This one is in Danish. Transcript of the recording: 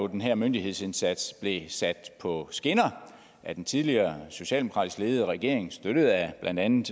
den her myndighedsindsats jo blev sat på skinner af den tidligere socialdemokratisk ledede regering og støttet af blandt andet